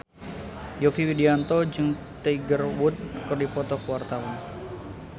Yovie Widianto jeung Tiger Wood keur dipoto ku wartawan